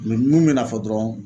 mun bɛna fɔ dɔrɔn.